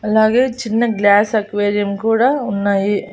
అలాగే చిన్న glass aquarium కూడా ఉన్నాయి.